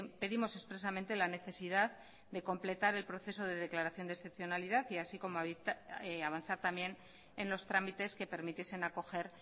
pedimos expresamente la necesidad de completar el proceso de declaración de excepcionalidad así como avanzar también en los trámites que permitiesen acoger